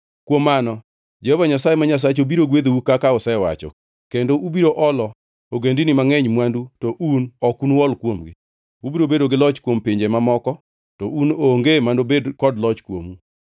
Kuom mano Jehova Nyasaye ma Nyasachu biro gwedhou kaka osewacho, kendo ubiro olo ogendini mangʼeny mwandu to un ok unuol kuomgi. Ubiro bedo gi loch kuom pinje mamoko to un onge manobed kod loch kuomu.